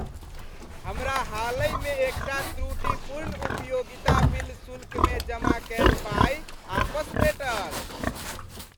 हमरा हालहि मे एकटा त्रुटिपूर्ण उपयोगिता बिल शुल्कमे जमा कयल पाइ आपस भेटल।